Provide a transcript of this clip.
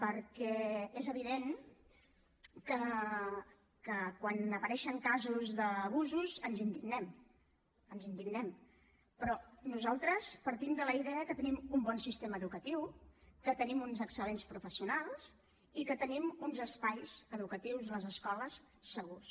perquè és evident que quan apareixen casos d’abusos ens indignem ens indignem però nosaltres partim de la idea que tenim un bon sistema educatiu que tenim uns excel·lents professionals i que tenim uns espais educatius les escoles segurs